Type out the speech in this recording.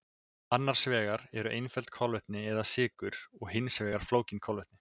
Annars vegar eru einföld kolvetni eða sykur og hins vegar flókin kolvetni.